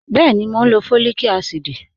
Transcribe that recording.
Bẹẹni, mọ̀ n lọ fọ́líìkà àsídì